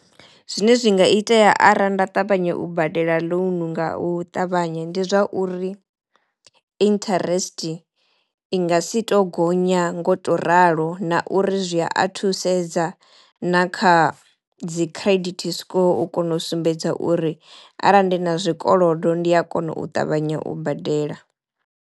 Zwine zwi nga itea arali nda tavhanya u badela ḽounu nga u ṱavhanya ndi zwa uri interest i nga si to gonya ngo to ralo na uri zwi a thusedza na kha dzi credit score u kono u sumbedza uri arali ndi na zwikolodo ndi a kona u ṱavhanya u badela.